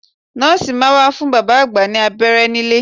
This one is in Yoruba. Nọ́ọ̀sì máa wá fún bàbá àgbà ní abẹ́rẹ́ nílé